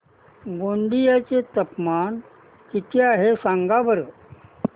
गोंदिया चे तापमान किती आहे सांगा बरं